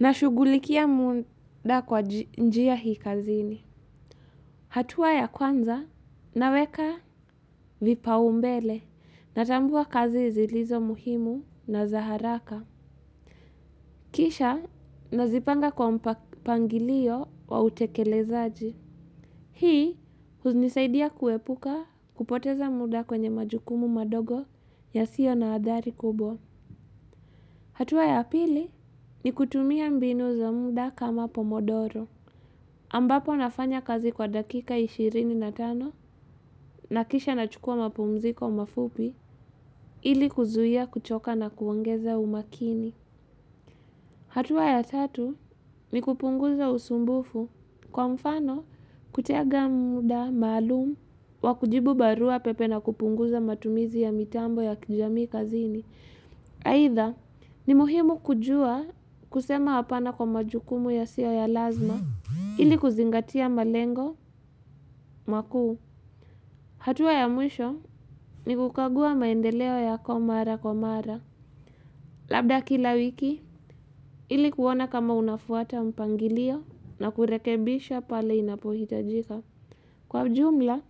Nashugulikia muda kwa njia hii kazini. Hatua ya kwanza, naweka vipaumbele, natambua kazi zilizo muhimu na zaharaka. Kisha, nazipanga kwa mpangilio wa utekelezaji. Hii, hunisaidia kuepuka kupoteza muda kwenye majukumu madogo ya sio na adhari kubo. Hatua ya pili, ni kutumia mbinu za muda kama pomodoro. Ambapo nafanya kazi kwa dakika ishirini na tano na kisha na chukua mapumziko mafupi ili kuzuhia kuchoka na kuongeza umakini. Hatua ya tatu ni kupunguza usumbufu kwa mfano kutega muda, malumu, wakujibu barua pepe na kupunguza matumizi ya mitambo ya kijamii kazini. Haitha, ni muhimu kujua kusema hapana kwa majukumu ya siyo ya lazima, ili kuzingatia malengo, makuu. Hatua ya mwisho ni kukagua maendeleo yako mara kwa mara. Labda kila wiki, ili kuona kama unafuata mpangilio na kurekebisha pale inapohitajika. Kwa jumla,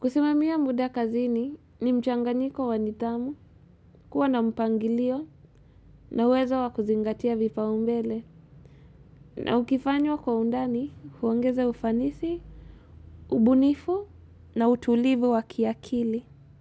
kusimamia muda kazini ni mchanganyiko wanidhamu kuwa na mpangilio na uwezo wakuzingatia vipa umbele. Na ukifanywa kwa undani, huongeze ufanisi, ubunifu na utulivu wakiakili.